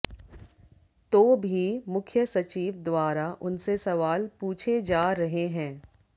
तो भी मुख्य सचिव द्वारा उनसे सवाल पूछे जा रहे हैं